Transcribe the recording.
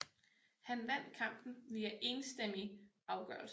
Han vandt kampen via enstemmig afgørelse